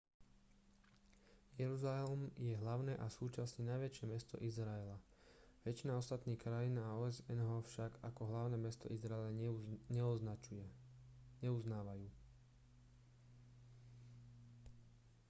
jeruzalem je hlavné a súčasne najväčšie mesto izraela väčšina ostatných krajín a osn ho však ako hlavné mesto izraela neuznávajú